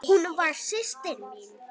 Hún var systir mín.